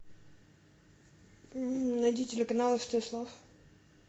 найди телеканал стс лав